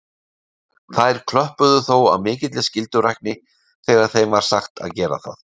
Þær klöppuðu þó af mikilli skyldurækni þegar þeim var sagt að gera það.